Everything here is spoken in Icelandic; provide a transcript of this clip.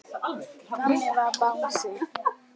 Þannig var Bangsi.